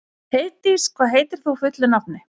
Heiðdís, hvað heitir þú fullu nafni?